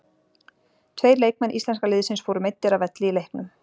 Tveir leikmenn íslenska liðsins fóru meiddir af velli í leiknum.